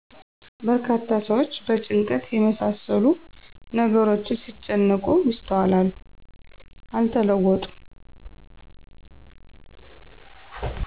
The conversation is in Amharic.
በርካታ ሰዎች በጭንቀት የመሳሰሉ ነገሮች ሲጨነቁ ይስተዋላሉ። አልተለወጡም